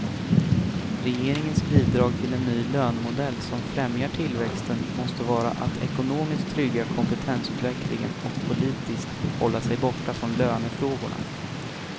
Regeringens bidrag till en ny lönemodell som främjar tillväxten måste vara att ekonomiskt trygga kompetensutvecklingen och politiskt hålla sig borta från lönefrågorna.